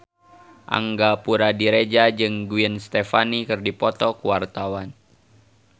Angga Puradiredja jeung Gwen Stefani keur dipoto ku wartawan